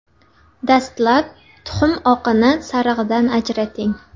Dastlab tuxum oqini sarig‘idan ajrating.